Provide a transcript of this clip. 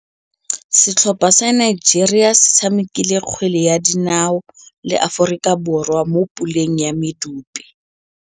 Setlhopha sa Nigeria se tshamekile kgwele ya dinaô le Aforika Borwa mo puleng ya medupe.